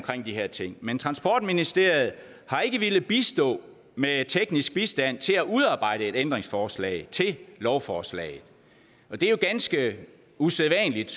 de her ting men transportministeriet har ikke villet bistå med teknisk bistand til at udarbejde et ændringsforslag til lovforslag og det er jo ganske usædvanligt